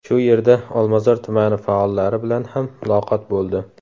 Shu yerda Olmazor tumani faollari bilan ham muloqot bo‘ldi.